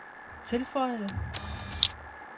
tilføjede